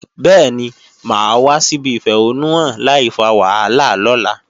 Bẹ́ẹ̀ni, mà á wá síbi ìfẹ̀hónúhàn láìfa wàhálà lọ́la